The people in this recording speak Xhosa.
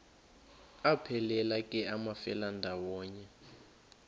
aphelela ke amafelandawonye